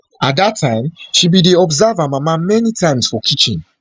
at dat time she bin dey observe her mama many times for kitchen